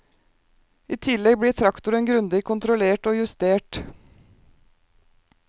I tillegg blir traktoren grundig kontrollert og justert.